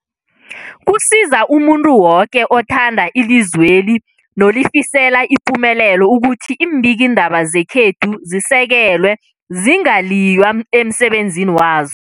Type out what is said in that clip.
Kusiza umuntu woke othanda ilizweli nolifisela ipumelelo ukuthi iimbikiindaba zekhethu zisekelwe, zingaliywa emsebenzini wazo.